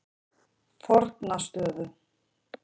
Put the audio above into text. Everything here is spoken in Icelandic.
Fornastöðum